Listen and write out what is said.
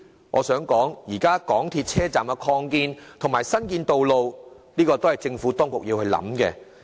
我想指出，港鐵車站擴建和新建道路的事宜，是政府當局需要好好思考的。